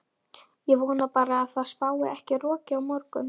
Ég vona bara að það spái ekki roki á morgun.